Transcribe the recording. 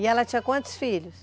E ela tinha quantos filhos?